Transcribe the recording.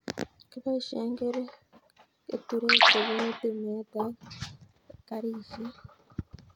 Kiboishe keturek chepunu temet ak karishet